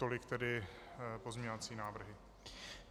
Tolik tedy pozměňovací návrhy.